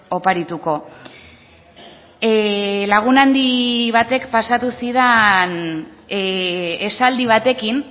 oparituko lagun handi batek pasatu zidan esaldi batekin